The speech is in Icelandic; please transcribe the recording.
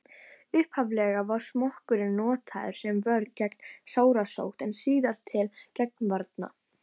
upphaflega var smokkurinn notaður sem vörn gegn sárasótt en síðar til getnaðarvarna